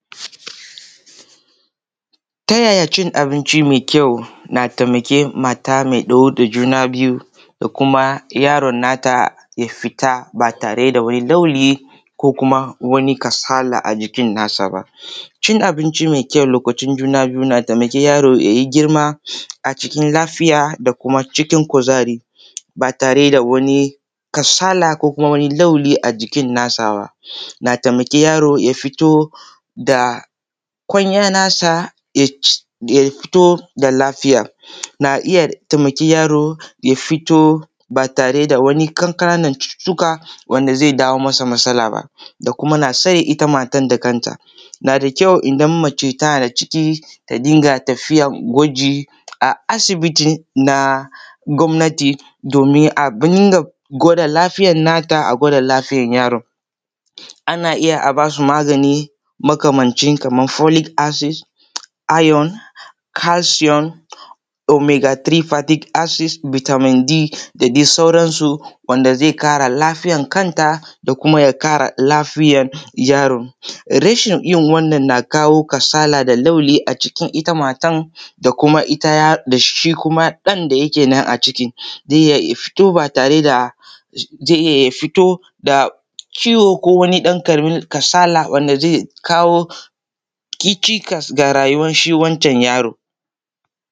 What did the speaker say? Ta yaya cin abinci me kyau na taimake mata me ɗauke da juna biyu da kuma yaron nata ya fit aba tare da wani rauni ko kuma wani kasala a jikin nasa ba? Cin abinci me kyau lokacin juna biyu na da sa yaro ya yi girma a cikin lafiya da kuma cikin kuzari ba tare da wani kasala ko kuma wani laulayi a jikin nasa ba, na taimaki wani yaro ya fito da kwanya nasa ya fito da lafiya na iya taimaki yaro ya fito ba tare da wani ƙananan cututtuka wanda ze dawo masa matsala da kuma matar itan kanta. Na da kyau idan mace na da ciki ta dinga tafiyan kwaji a sibiti na gwamnati domin a dinga gwada lafiyan nata, a gwada lafiyan yaron ana iya a ba su magani makamancin kaman folik asid, ayon, kalshiyon, omegefultirik asid, bitamin D da dai sauransu wanda ze ƙara lafiyan kanta da kuma ya ƙara lafiyan yaro. Rashin yin wannan na kawo kasala da laulayi a jikin ita matan da kuma shi ɗan da yake na a cikin ze iya fito ba tare da ze iya ya fito da ciwo ko wani ɗan kasala wanda ke kawo cikas da rayuwan shi wancan yaro.